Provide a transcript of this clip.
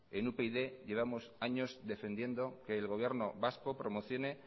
en upyd llevamos años defendiendo que el gobierno vasco promocione